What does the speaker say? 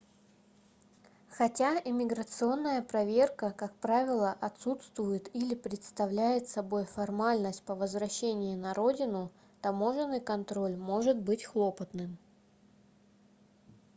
хотя иммиграционная проверка как правило отсутствует или представляет собой формальность по возвращении на родину таможенный контроль может быть хлопотным